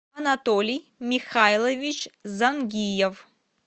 анатолий михайлович зангиев